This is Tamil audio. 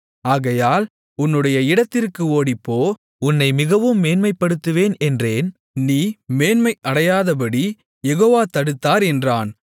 ஆகையால் உன்னுடைய இடத்திற்கு ஓடிப்போ உன்னை மிகவும் மேன்மைப்படுத்துவேன் என்றேன் நீ மேன்மை அடையாதபடி யெகோவா தடுத்தார் என்றான்